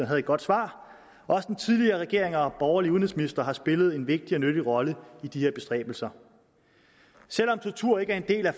havde et godt svar også den tidligere regering og borgerlige udenrigsministre har spillet en vigtig og nyttig rolle i de her bestræbelser selv om tortur ikke er en del af